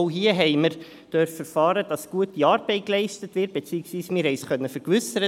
Auch hier durften wir erfahren, dass gute Arbeit geleistet wird, beziehungsweise, wir konnten uns davon vergewissern.